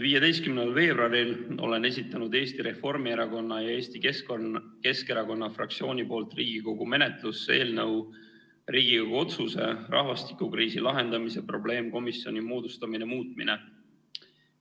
15. veebruaril esitasin Eesti Reformierakonna ja Eesti Keskerakonna fraktsiooni nimel Riigikogu menetlusse eelnõu "Riigikogu otsuse "Rahvastikukriisi lahendamise probleemkomisjoni moodustamine" muutmine".